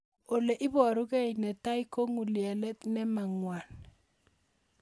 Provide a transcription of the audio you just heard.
Ole iparukei ne tai ko ng'ulyelet nemo ng'wan